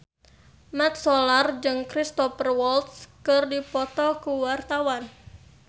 Mat Solar jeung Cristhoper Waltz keur dipoto ku wartawan